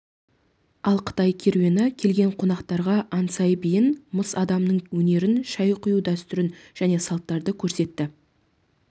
ал қытай керуені келген қонақтарға анцай биін мыс адамның өнерін шай құю дәстүрін және салттарды көрсетті